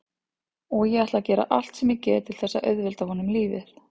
Og ég ætla að gera allt sem ég get til þess að auðvelda honum lífið.